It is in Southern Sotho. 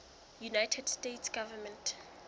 united states government